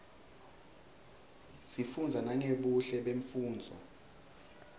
sifunza nangebuhle bemnfundzo